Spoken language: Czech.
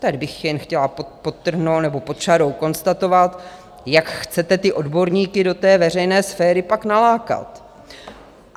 Tady bych jen chtěla podtrhnout nebo pod čarou konstatovat, jak chcete ty odborníky do té veřejné sféry pak nalákat.